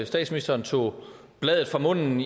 statsministeren tog bladet fra munden